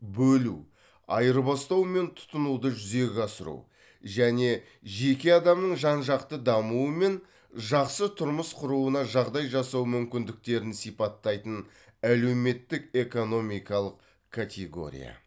бөлу айырбастау мен тұтынуды жүзеге асыру және жеке адамның жан жақты дамуы мен жақсы тұрмыс құруына жағдай жасау мүмкіндіктерін сипаттайтын әлеуметтік экономикалық категория